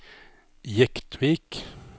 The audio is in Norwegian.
Jektvik